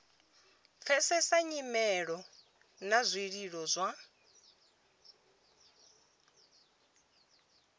pfesesa nyimelo na zwililo zwa